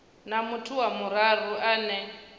na muthu wa vhuraru ane